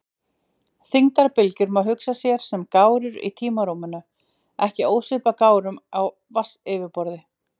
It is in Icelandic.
Þyngdarbylgjur má hugsa sér sem gárur í tímarúminu, ekki ósvipaðar gárum á vatnsyfirborði.